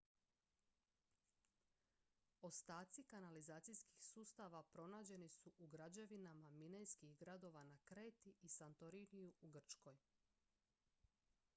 ostaci kanalizacijskih sustava pronađeni su u građevinama minejskih gradova na kreti i santoriniju u grčkoj